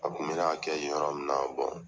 A kun bɛ n'a kɛ yen yɔrɔ min